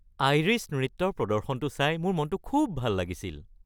Irish নৃত্যৰ প্ৰদৰ্শনটো চাই মোৰ মনটো খুব ভাল লাগিছিল।